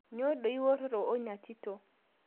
Nyoo dei ewuororo o nia tito